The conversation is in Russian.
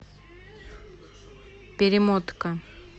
перемотка